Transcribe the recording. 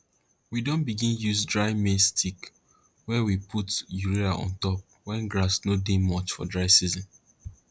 we don begin use dry maize sticks wey we put urea on top when grass no dey much for dry season